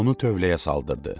Onu tövləyə saldırdı.